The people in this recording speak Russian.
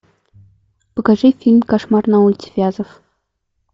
покажи фильм кошмар на улице вязов